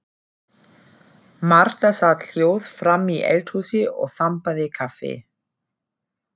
Marta sat hljóð framí eldhúsi og þambaði kaffi.